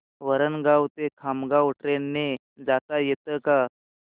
वरणगाव ते खामगाव ट्रेन ने जाता येतं का